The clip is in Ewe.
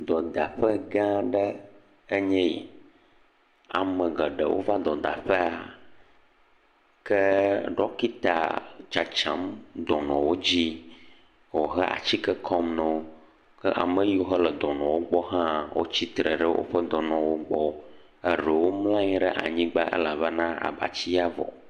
Dɔdaƒe gãa aɖe enye yi, ame geɖewo va dɔda ƒea ke dɔkita tsatsam dɔnɔwo dzi henɔ atike kɔm na wo. Ame siwo le dɔnɔwo gbɔ hã tsitre ɖe woƒe dɔnɔwo gbɔ eɖewo mlɔ anyigba elabena abatiawo vɔ.